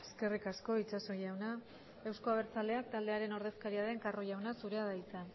eskerrik asko itxaso jauna eusko abertzaleak taldearen ordezkaria den carro jauna zurea da hitza